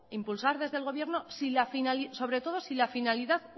impulsar desde el gobierno sobre todo si la finalidad